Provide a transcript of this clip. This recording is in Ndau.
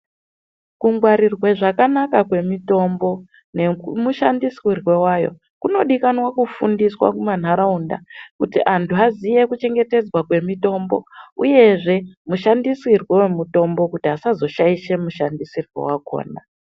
Kungwarirwe zvakanaka kwemitombo nemushandisirwe wayo kunodikanwa kufundiswa kumanharaunda kuti anhu aziye kuchengetedzwa kwemitombo uyezve mushandisirwo womitombo kuti asazoshaishe mushandisirwo wakhona.